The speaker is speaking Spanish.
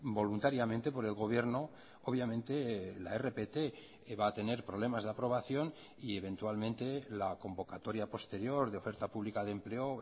voluntariamente por el gobierno obviamente la rpt va a tener problemas de aprobación y eventualmente la convocatoria posterior de oferta pública de empleo